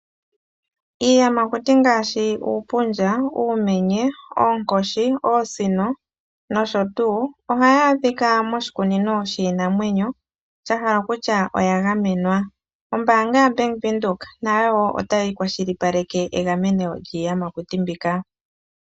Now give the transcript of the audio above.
Iiyamakuti ngaashi uupundja, uumenye, oonkoshi ,oosino nosho tuu. Ohayi adhika moshikunino shiinanwenyo shahala kutya oyagamenwa. ombaanga ya bank widhoek nayo otayikwashilipaleke egameno lyiiyamakuti.